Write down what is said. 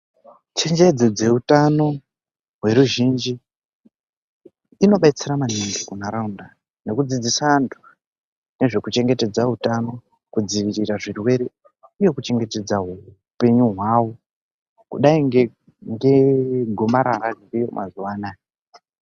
Chengedzo dzeutano hweruzhinji inobetsera maningi kunharaunda nekudzidzisa antu ngezvekuchengetedzwa utano, kudzivirira zvirwere uye kuchengetedza hupenyu hwavo kudai ngegomarara ririyo mazuwa anaya.